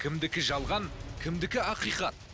кімдікі жалған кімдікі ақиқат